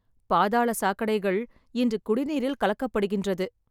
பாதாள சாக்கடைகள் இன்று குடிநீரில் கலக்கப்படுகின்றது.